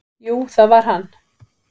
"""Jú, það var hann!"""